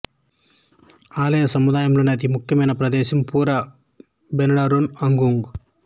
ఆలయ సముదాయంలోని అతి ముఖ్యమైన ప్రదేశం పురా బెనడోరన్ అగుంగ్